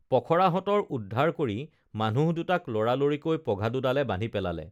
পখৰাহঁতৰ উদ্ধাৰ কৰি মানুহ দুটাক লৰালৰিকৈ পঘা দুডালে বান্ধি পেলালে